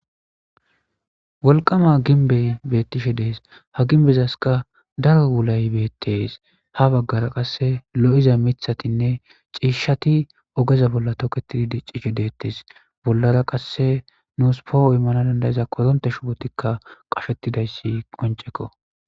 Wolqqama gimbey bettishe de'es ha gimbezas dalgga wuulay beetes ha baggara qase lo'iza miiththa ciishshatti oogeza bolla tokkettidi diccishe deetes bollara qase nuus po'o iimmanaw dandda'iz korontte shuubottikka qashettidayssi qonccekko.